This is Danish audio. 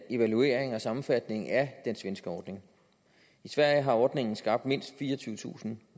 evaluering og sammenfatning af den svenske ordning i sverige har ordningen skabt mindst fireogtyvetusind